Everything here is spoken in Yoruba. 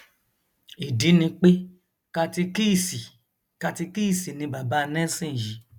ìdí ni pé katikíìsì katikíìsì ni bàbá nelson yìí